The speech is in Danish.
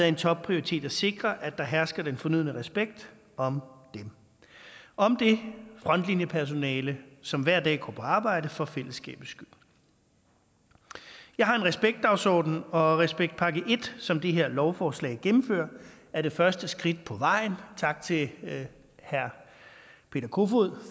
en topprioritet at sikre at der hersker den fornødne respekt om dem om det frontlinjepersonale som hver dag går på arbejde for fællesskabets skyld jeg har en respektdagsorden og respektpakke i som det her lovforslag gennemfører er det første skridt på vejen tak til herre peter kofod